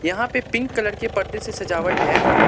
यहां पे pink colour के परदे से सजावट है।